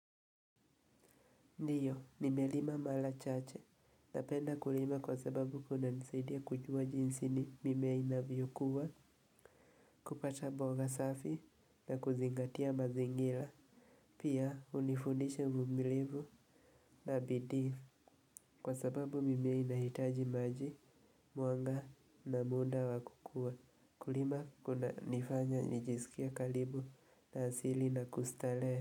Ndiyo, nimelima mala chache. Napenda kulima kwa sababu kuna nisaidia kujua jinsi ni mimea inavyokuwa, kupata boga safi na kuzingatia mazingila. Pia, unifundisha umumilivu na bidii. Kwa sababu mimea inahitaji maji, mwanga na munda wa kukua. Kulima kuna nifanya nijisikia kalibu na asili na kustale.